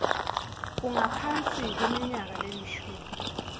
ungaphasi kweminyaka lelishumi